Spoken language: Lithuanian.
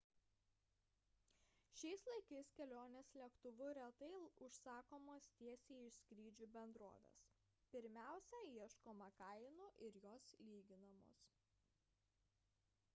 šiais laikais kelionės lėktuvu retai užsakomos tiesiai iš skrydžių bendrovės – pirmiausia ieškoma kainų ir jos lyginamos